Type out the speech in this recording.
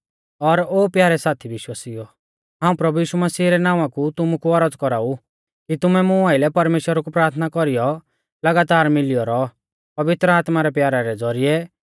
और ओ प्यारै साथी विश्वासिउओ हाऊं प्रभु यीशु मसीह रै नावां कु तुमु कु औरज़ कौराऊ कि तुमै मुं आइलै परमेश्‍वरा कु प्राथना कौरीयौ लगातार मिलियौ रौ पवित्र आत्मा रै प्यारा रै ज़ौरिऐ